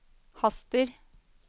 haster